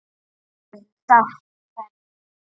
Afinn sást hvergi.